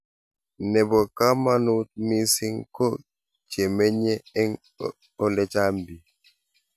nebo kamangut mising ko chemenye eng ole chang bik